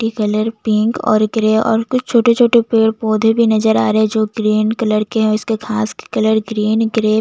मिटटी colour pink और grey और कुछ छोटे - छोटे पेड़ - पौधे भी नजर आ रहै जो ग्रीन कलर के है और इसके घास कलर ग्रीन ग्रे --